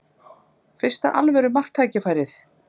Fyrsta alvöru marktækifærið